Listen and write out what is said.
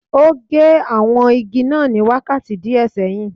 O gé àwọn igi náà ní wákàtí díẹ̀ sẹ́yìn